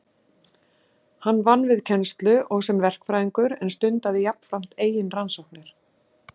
Hann vann við kennslu og sem verkfræðingur en stundaði jafnframt eigin rannsóknir.